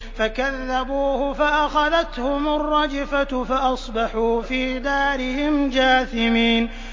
فَكَذَّبُوهُ فَأَخَذَتْهُمُ الرَّجْفَةُ فَأَصْبَحُوا فِي دَارِهِمْ جَاثِمِينَ